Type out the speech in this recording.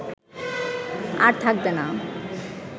আর থাকবে না